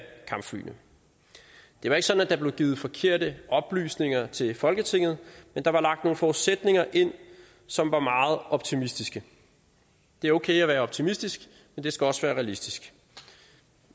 kampflyene det var ikke sådan at der blev givet forkerte oplysninger til folketinget men der var lagt nogle forudsætninger ind som var meget optimistiske det er okay at være optimistisk men det skal også være realistisk